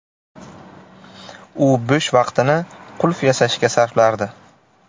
U bo‘sh vaqtini qulf yasashga sarflardi.